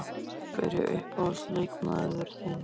Hver er uppáhalds leikmaður þinn?